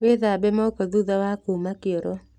Wĩthabe moko thutha wa kuma kĩoro.